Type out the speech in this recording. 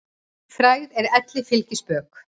Frægð er elli fylgispök.